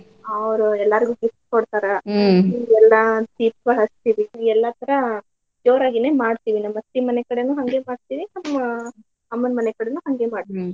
ಅವ್ರ ಎಲ್ಲಾರ್ಗೂ gift ಕೊಡ್ತಾರ ರಾತ್ರಿಗ ಎಲ್ಲಾ ದೀಪಾ ಹಚ್ಚಿಇಡ್ತಿವಿ ಎಲ್ಲ ತರಾ ಜೋರಗೇನ ಮಾಡ್ತೀವಿ ನಮ್ ಅತ್ತಿ ಮನಿ ಕಡೆನೂ ಹಂಗೆ ಮಾಡ್ತೀವಿ ನಮ್ ಅಮ್ಮನ್ ಮನೇಕಡೆನೂ ಹಂಗೆ ಮಾಡ್ತೀವಿ .